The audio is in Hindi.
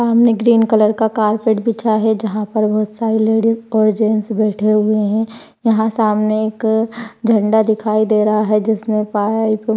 सामने ग्रीन कलर का कारपेट बिछा है जहा पर बहुत सारे लेडिज और जेन्ट्स बैठे हुए है। यहा सामने एक झंडा दिखाई दे रहा है। जिसमे पायल --